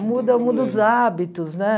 Muda muda os hábitos, né?